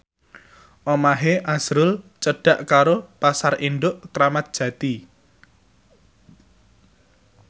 omahe azrul cedhak karo Pasar Induk Kramat Jati